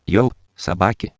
елс